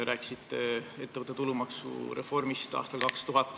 Rääkisite ettevõtte tulumaksu reformist aastal 2000.